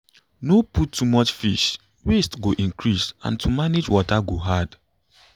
no put too much fish waste go increase and to manage water go hard